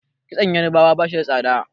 kitson yarabawa ba shi da tsada